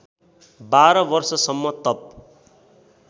१२ वर्षसम्म तप